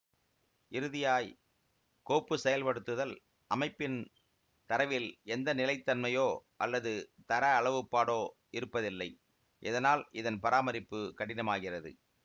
இறுதியாய் கோப்பு செயல்படுத்துதல் அமைப்பின் தரவில் எந்த நிலைதன்மையோ அல்லது தர அளவுப்பாடோ இருப்பதில்லை இதனால் இதன் பராமரிப்பு கடினமாகிறது